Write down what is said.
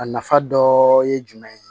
A nafa dɔ ye jumɛn ye